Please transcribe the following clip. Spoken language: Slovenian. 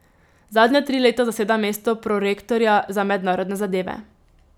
Zadnja tri leta zaseda mesto prorektorja za mednarodne zadeve.